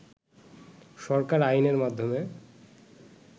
সরকার আইনের মাধ্যমে